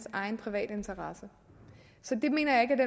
egen private interesse det mener jeg ikke